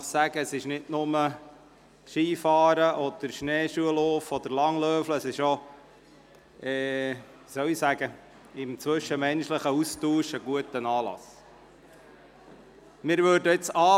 Es geht dabei nicht nur ums Skifahren, Schneeschuh- oder Langlaufen, vielmehr ist dieser Anlass für den zwischenmenschlichen Austausch sehr wertvoll.